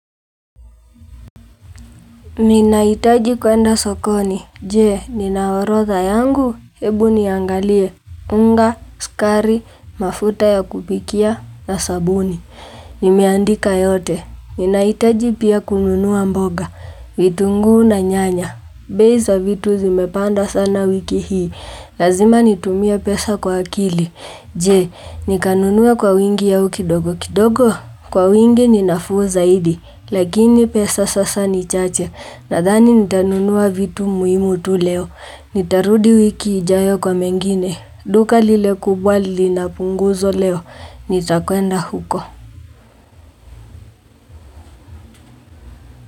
Ninahitaji kwenda sokoni. Je, ninaorodha yangu. Hebu niangalie. Unga, sukari, mafuta ya kupikia na sabuni. Nimeandika yote. Ninaitaji pia kununua mboga. Vitunguu na nyanya. Bei za vitu zimepanda sana wiki hii. Lazima nitumie pesa kwa akili. Je, nikanunue kwa wingi au kidogo. Kidogo, kwa wingi ninafuu zaidi. Lakini pesa sasa ni chache. Nadhani nitanunuwa vitu muimu tu leo. Nitarudi wiki ijayo kwa mengine. Duka lilekubwa linapunguzo leo. Nitakwenda huko.